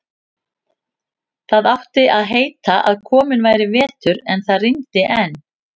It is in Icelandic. Það átti að heita að kominn væri vetur, en það rigndi enn.